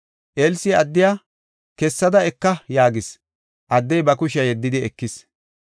Elsi addiya, “Kessada eka” yaagis. Addey ba kushiya yeddidi ekis.